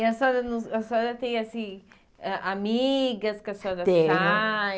E a senhora não a senhora tem, assim, ah amigas que a senhora sai?